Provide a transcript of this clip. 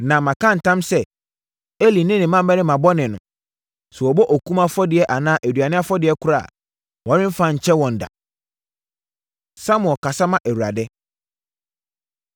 Na maka ntam sɛ, Eli ne ne mmammarima bɔne no, sɛ wɔbɔ okum afɔdeɛ anaa aduane afɔdeɛ koraa a, wɔremfa nkyɛ wɔn da.” Samuel Kasa Ma Awurade